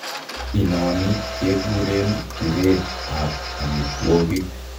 Inoni kekureen pireet ab omitwogik